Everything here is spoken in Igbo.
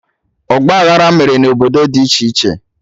Ọgba aghara mere na obodo dị iche iche